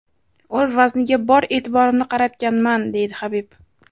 O‘z vazniga bor e’tiborimni qaratganman”, deydi Habib.